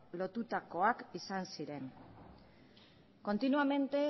lotutakoak izan ziren continuamente